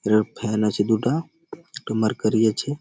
এরূপ ফান আছে দুটা একটো মার্কারি আছে-এ |